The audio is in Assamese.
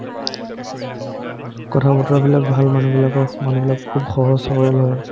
কথা-বতৰাবিলাক ভাল মানুহবিলাক মানুহবিলাক খুব সহজ-সৰল হয়